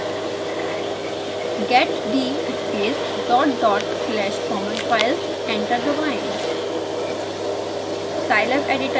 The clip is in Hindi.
टाइप करें: get d space dot dot slash common files enter दबाएँ